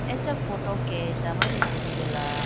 acha photo kesha mane tulitela.